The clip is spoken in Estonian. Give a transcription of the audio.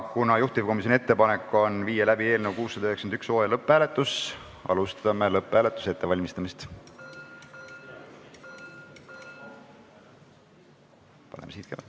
Kuna juhtivkomisjoni ettepanek on viia läbi eelnõu 691 lõpphääletus, siis alustame lõpphääletuse ettevalmistamist.